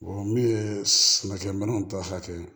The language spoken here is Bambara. min ye sɛnɛkɛminɛnw ta hakɛ ye